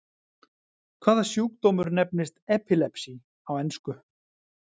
Hvaða sjúkdómur nefnist epilepsy á ensku?